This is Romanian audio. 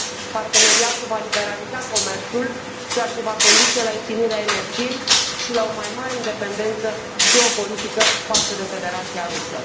Parteneriatul va liberaliza comerțul, ceea ce va conduce la ieftinirea energiei și la o mai mare independență geopolitică față de Federația Rusă.